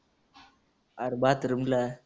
आरं bathroom ला.